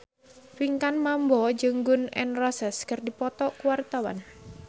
Pinkan Mambo jeung Gun N Roses keur dipoto ku wartawan